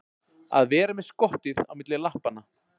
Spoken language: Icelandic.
Að vera með skottið á milli lappanna